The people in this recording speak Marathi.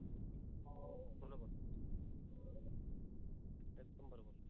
एकदम बरोबर.